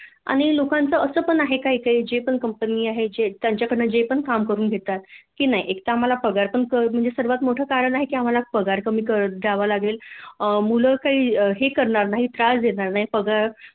आणि लोकांच अस पण आहे काय काय जे कंपना आहे त्यांच्याकडन जे पण काम करून घेतात की नाही एक तर आम्हाल पगार पण सर्वात मोठ कारण आहे आम्हाला पगार कमी द्यावा लागेल मुल काही हे करणार नाही त्रास देणार नाही पगार